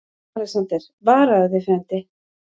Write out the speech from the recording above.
ALEXANDER: Varaðu þig, frændi.